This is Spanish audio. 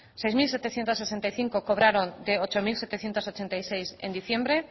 seis mil setecientos sesenta y cinco cobraron de ocho mil setecientos ochenta y seis en diciembre